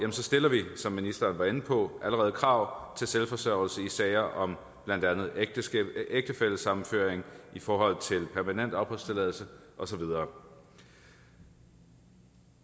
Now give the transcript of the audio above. stiller vi som ministeren var inde på allerede krav om selvforsørgelse i sager om blandt andet ægtefællesammenføring i forhold til permanent opholdstilladelse og så videre